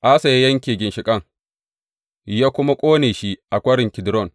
Asa ya yanke ginshiƙin, ya kuma ƙone shi a Kwarin Kidron.